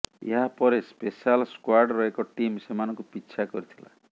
ଏହା ପରେ ସ୍ପେଶାଲ ସ୍କ୍ବାଡର ଏକ ଟିମ୍ ସେମାନଙ୍କୁ ପିଛା କରିଥିଲା